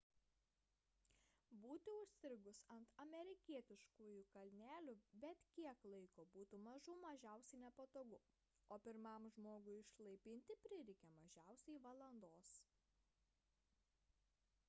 būti užstrigus ant amerikietiškųjų kalnelių bet kiek laiko būtų mažų mažiausiai nepatogu o pirmam žmogui išlaipinti prireikė mažiausiai valandos